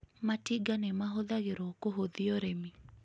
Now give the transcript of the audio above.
Matinga nĩ mahũthagĩrũo kũhũthia ũrĩmi